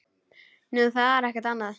Nú, það er ekkert annað.